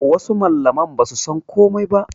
Wasu mallaman basu san komai ba